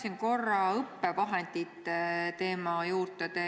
Ma tulen korraks õppevahendite teema juurde tagasi.